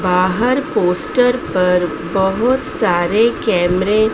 बाहर पोस्ट पर बहोत सारे कैमरे --